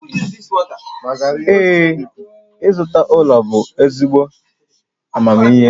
Ee, ịzụta ụlọ bụ ezigbo amamihe